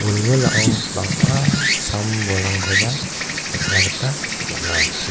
wilwilao bang·a sam-bolrangkoba nikna gita man·a.